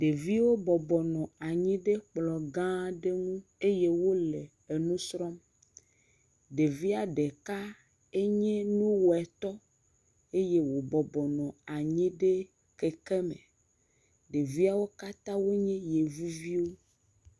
Ɖeviwo bɔbɔ nɔ anyi ɖe kplɔgã aɖe nu eye wole nusrɔm ɖevia ɖeka nye nuwɔɛtɔ eye wòbɔbɔ nɔ anyi ɖe kekeme ɖeviawo katã nye yevuviwo